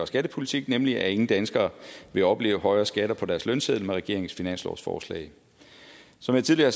skattepolitik nemlig at ingen danskere vil opleve højere skatter på deres lønseddel med regeringens finanslovsforslag som jeg tidligere